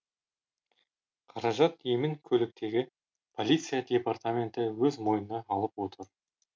қаражат емін көліктегі полиция департаменті өз мойнына алып отыр